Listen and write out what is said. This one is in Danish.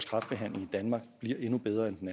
kræftbehandlingen i danmark bliver endnu bedre end den